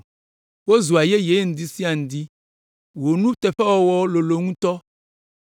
Wozua yeye ŋdi sia ŋdi, wò nuteƒewɔwɔ lolo ŋutɔ.